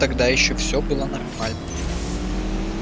тогда ещё всё было нормально